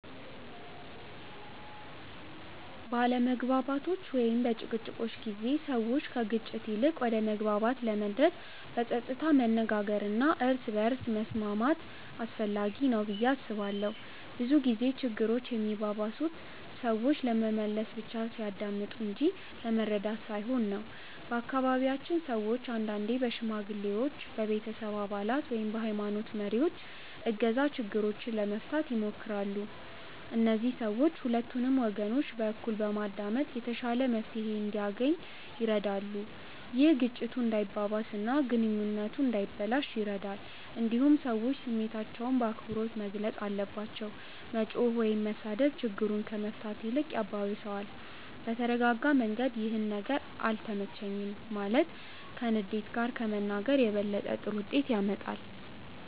በአለመግባባቶች ወይም በጭቅጭቆች ጊዜ ሰዎች ከግጭት ይልቅ ወደ መግባባት ለመድረስ በጸጥታ መነጋገር እና እርስ በርስ መስማት አስፈላጊ ነው ብዬ አስባለሁ። ብዙ ጊዜ ችግሮች የሚባባሱት ሰዎች ለመመለስ ብቻ ሲያዳምጡ እንጂ ለመረዳት ሳይሆን ነው። በአካባቢያችን ሰዎች አንዳንዴ በሽማግሌዎች፣ በቤተሰብ አባላት ወይም በሀይማኖት መሪዎች እገዛ ችግሮችን ለመፍታት ይሞክራሉ። እነዚህ ሰዎች ሁለቱንም ወገኖች በእኩል በማዳመጥ የተሻለ መፍትሄ እንዲገኝ ይረዳሉ። ይህ ግጭቱ እንዳይባባስ እና ግንኙነቱ እንዳይበላሽ ይረዳል። እንዲሁም ሰዎች ስሜታቸውን በአክብሮት መግለጽ አለባቸው። መጮህ ወይም መሳደብ ችግሩን ከመፍታት ይልቅ ያባብሰዋል። በተረጋጋ መንገድ “ይህ ነገር አልተመቸኝም” ማለት ከንዴት ጋር ከመናገር የበለጠ ጥሩ ውጤት ያመጣል።